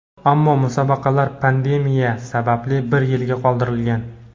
ammo musobaqalar pandemiya sababli bir yilga qoldirilgan.